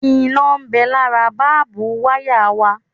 Iná ń bẹ lára bábú wayà wa